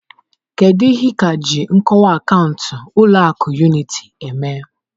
Kedu ihe ị ka ji nkọwa akaụntụ ụlọ akụ Unity eme?